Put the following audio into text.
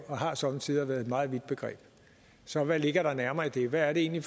og har somme tider været et meget vidt begreb så hvad ligger der nærmere i det hvad er det egentlig